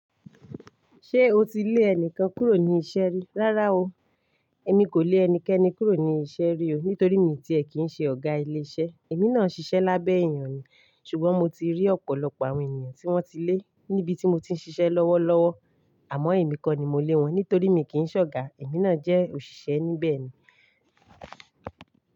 Ṣé o ti lé ẹnìkan kúrò ní iṣẹ́ rí? Rárá o. Èmi kò lé ẹnikẹni kúrò ní iṣẹ́ rí o, nítorí mi tí è kí ń ṣe ọ̀gá ilé iṣẹ́. Èmi náà ṣiṣẹ́ lábẹ́ èèyàn ni. Ṣùgbọ́n mo ti rí ọ̀pọ̀lọpọ̀ àwọn ènìyàn tí wọ́n ti lé níbi tí mo ti ń ṣiṣẹ́ lọ́wọ́lọ́wọ́. Àmọ́ èmi kọ́ ni mo lé wọn, nítorí mi kì í ṣọ̀ga. Èmi náà jẹ́ òṣìṣẹ́ níbẹ̀ ni.